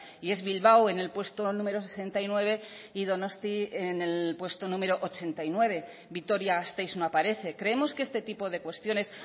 y es bilbao en el puesto número sesenta y nueve y donosti en el puesto número ochenta y nueve vitoria gasteiz no aparece creemos que este tipo de cuestiones